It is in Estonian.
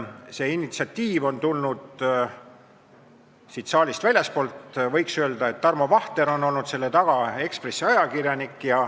See initsiatiiv on tulnud sellest saalist väljastpoolt, võiks öelda, et selle taga on olnud Tarmo Vahter, Eesti Ekspressi ajakirjanik.